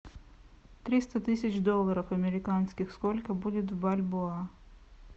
триста тысяч долларов американских сколько будет в бальбоа